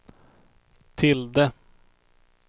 tilde